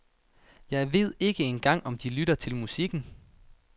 Jeg ved ikke engang om de lytter til musikken.